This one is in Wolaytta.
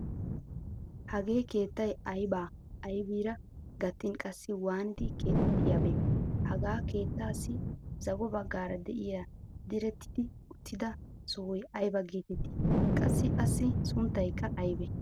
Hagee keettay ayba aybiira gattin qassi waanidi keexettiyaabe. Hagaa keettaassi zago baggaara de'iya direttidi uttida sohoy ayba geetetti qassi assi sunttaykka aybe.